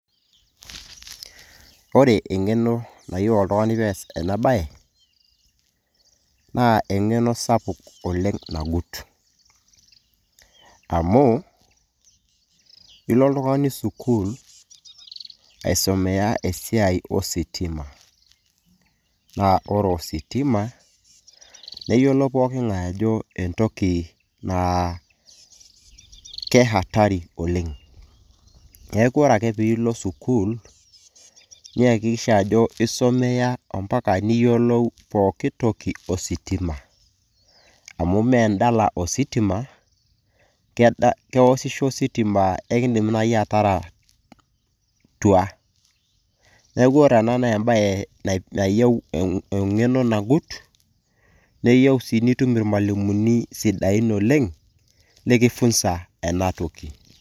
ore eng'eno nayieu oltung'ani pees ena baye naa eng'eno sapuk nagut amu ilo oltung'ani sukul aisomeya esiai ositima naa ore ositima neyiolo poking'ae ajo entoki naa ke hatari oleng neeku ore ake piilo sukul niyakikisha ajo isomeya ompaka niyiolou pokitoki ositima amu mendala ositima kewoshisho ositima ekindim naaji atara tua neeku ore ena naa embaye nayieu eng'eno nagut neyieu sii nitum irmalimuni sidain oleng likifunza ena enatoki.